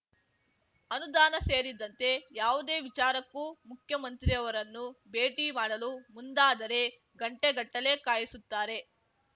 ಅನುದಾನ ಸೇರಿದಂತೆ ಯಾವುದೇ ವಿಚಾರಕ್ಕೂ ಮುಖ್ಯಮಂತ್ರಿಯವರನ್ನು ಭೇಟಿ ಮಾಡಲು ಮುಂದಾದರೆ ಗಂಟೆ ಗಟ್ಟಲೇ ಕಾಯಿಸುತ್ತಾರೆ